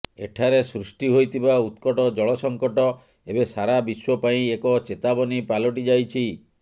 ଏଠାରେ ସୃଷ୍ଟି ହୋଇଥିବା ଉତ୍କଟ ଜଳ ସଙ୍କଟ ଏବେ ସାରା ବିଶ୍ୱ ପାଇଁ ଏକ ଚେତାବନୀ ପାଲଟି ଯାଇଛି